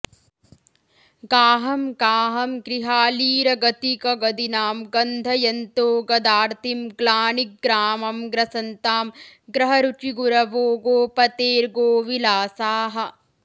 गाहं गाहं गृहालीरगतिकगदिनां गन्धयन्तो गदार्तिं ग्लानिग्रामं ग्रसन्तां ग्रहरुचिगुरवो गोपतेर्गोविलासाः